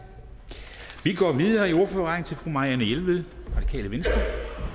vi går videre i ordførerrækken til fru marianne jelved radikale venstre